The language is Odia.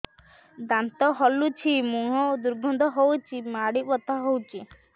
ଦାନ୍ତ ହଲୁଛି ମୁହଁ ଦୁର୍ଗନ୍ଧ ହଉଚି ମାଢି ବଥା ହଉଚି